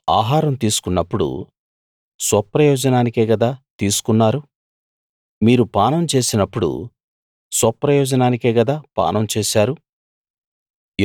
మీరు ఆహారం తీసుకున్నప్పుడు స్వప్రయోజనానికే గదా తీసుకున్నారు మీరు పానం చేసినప్పుడు స్వప్రయోజనానికే గదా పానం చేశారు